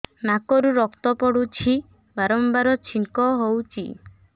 ନାକରୁ ରକ୍ତ ପଡୁଛି ବାରମ୍ବାର ଛିଙ୍କ ହଉଚି